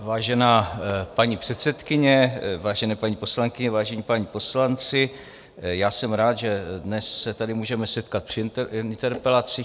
Vážená paní předsedkyně, vážené paní poslankyně, vážení páni poslanci, já jsem rád, že dnes se tady můžeme setkat při interpelacích.